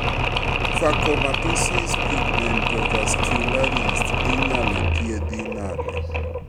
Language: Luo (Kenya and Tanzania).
Phacomatosis pigmentovascularis inyalo thiedhi nade